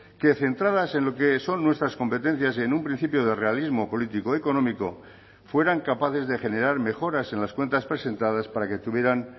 que centradas en lo que son nuestras competencias y en un principio de realismo político económico fueran capaces de generar mejoras en las cuentas presentadas para que tuvieran